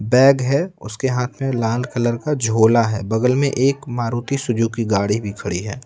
Bag है उसके हाथ में लाल कलर का झोला है बगल में एक मारुति सुजुकी गाड़ी भी खड़ी है।